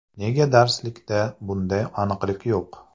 Nega darslikda bunday aniqlik yo‘q?